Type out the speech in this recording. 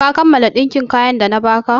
Ka kammala ɗinkin kayan da na ba ka?